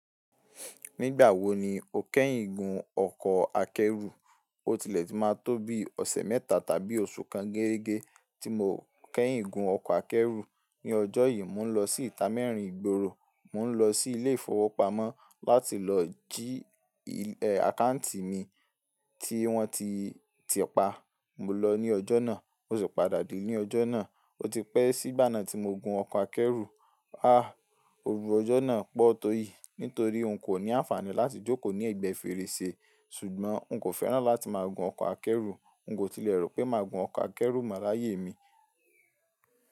Nígbà wo ni o kẹ́yìn gun ọkọ̀ akẹ́rù? O tilẹ̀ tí máa tó bí ọ̀sẹ̀ mẹ́ta tàbí oṣù kan gẹ́regẹ́ tí mo kẹ́yìn gun ọkọ̀ akẹ́rù. Ní ọjọ́ yìí, mò ń lọ sí ìta mẹ́rin ìgboro, mò ń lọ sí ilé ìfowópamọ́ láti lọ sí, ẹ, àkáùntì mi tí wọ́n ti, ti pa. Mo lọ ní ọjọ́ náà, mo sì padà dé ní ọjọ́ náà. O ti pẹ́ sí igbà náà tí mo gun ọkọ̀ akẹ́rù. A! Òru ọjọ́ náà pọ̀ tó iyì nítorí n kò ní àǹfààní láti jókòó ní ẹ̀gbẹ́ fèrèsé. Ṣùgbọ́n n kò fẹ́ràn láti máa gun ọkọ̀ akẹ́rù. N kò tilẹ̀ rò pé màá gun ọkọ̀ akẹ́rù mọ́ láyé mi.